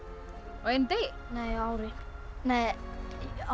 á einum degi nei á ári nei á